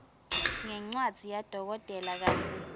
ngencwadzi yadokotela kantsi